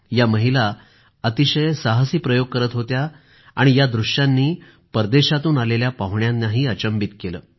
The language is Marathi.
या महिला अतिशय साहसी प्रयोग करीत होत्या आणि या दृष्यांनी परदेशातून आलेल्या पाहुण्यांनाही अचंभित केलं